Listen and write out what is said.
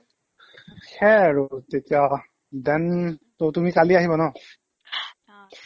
সেইয়াই আৰু তেতিয়া then ত' তুমি কালি আহিবা ন